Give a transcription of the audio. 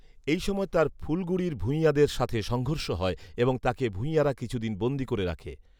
এই সময়ে তার ফুলগুরির ভূইঞাদের সাথে সংঘৰ্ষ হয় এবং তাকে ভূইঞারা কিছুদিন বন্দী করে রাখে